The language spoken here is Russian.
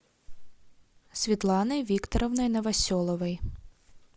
светланой викторовной новоселовой